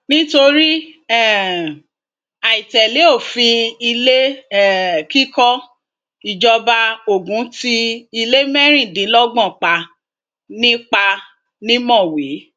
nítorí um àì tẹlé òfin ilé um kíkọ ìjọba ogun ti ilé mẹrìndínlọgbọn pa ni pa ni mọwé